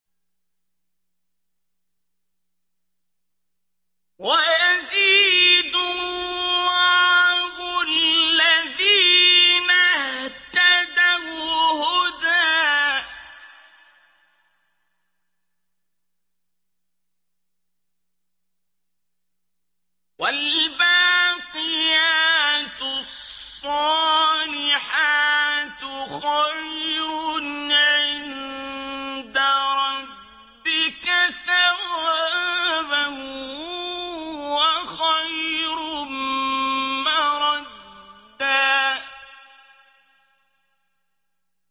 وَيَزِيدُ اللَّهُ الَّذِينَ اهْتَدَوْا هُدًى ۗ وَالْبَاقِيَاتُ الصَّالِحَاتُ خَيْرٌ عِندَ رَبِّكَ ثَوَابًا وَخَيْرٌ مَّرَدًّا